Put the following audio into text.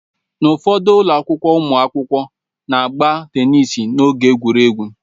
N'ufodu ụlọ akwụkwọ, ụmụakwụkwọ na-agba teniisi n'oge egwuregwu.